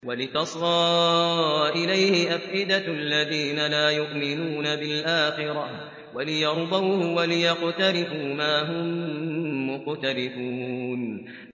وَلِتَصْغَىٰ إِلَيْهِ أَفْئِدَةُ الَّذِينَ لَا يُؤْمِنُونَ بِالْآخِرَةِ وَلِيَرْضَوْهُ وَلِيَقْتَرِفُوا مَا هُم مُّقْتَرِفُونَ